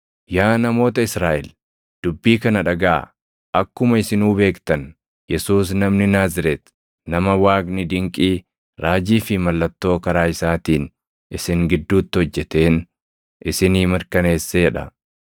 “Yaa namoota Israaʼel, dubbii kana dhagaʼaa; akkuma isinuu beektan, Yesuus namni Naazreeti nama Waaqni dinqii, raajii fi mallattoo karaa isaatiin isin gidduutti hojjeteen isinii mirkaneessee dha.